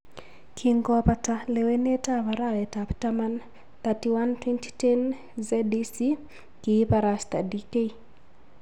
Kingobata lewenetab arawetab taman 31.2010,ZEC kiibarasta DK